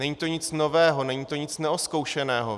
Není to nic nového, není to nic neozkoušeného.